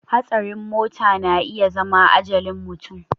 Hatsarin mota na iya zama ajalin mutum